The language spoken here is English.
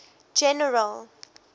general